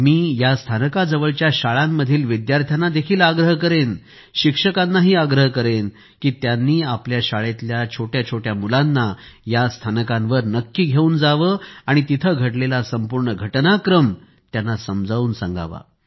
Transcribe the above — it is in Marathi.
मी या स्थानका जवळच्या शाळांमधील विद्यार्थ्यांनाही आग्रह करेन शिक्षकांना आग्रह करेन की त्यांनी आपल्या शाळेतल्या छोट्या छोट्या मुलांना या स्थानकांवर नक्की घेऊन जावे आणि तिथे घडलेला संपूर्ण घटनाक्रम त्यांना समजावून सांगावा